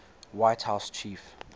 white house chief